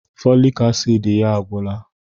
Fọlik asiidi ya a gwụla.